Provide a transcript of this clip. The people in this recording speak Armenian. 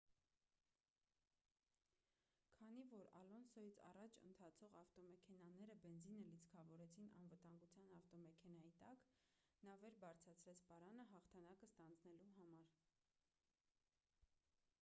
քանի որ ալոնսոյից առաջ ընթացող ավտոմեքենաները բենզինը լիցքավորեցին անվտանգության ավտոմեքենայի տակ նա վեր բարձրացրեց պարանը հաղթանակը ստանձնելու համար